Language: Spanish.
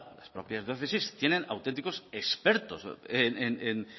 las propias diócesis tienen auténticos expertos en